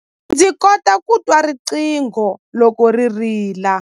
Ndzi kota ku twa riqingho loko ri rila.